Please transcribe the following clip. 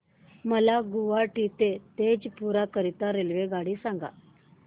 मला गुवाहाटी ते तेजपुर करीता रेल्वेगाडी सांगा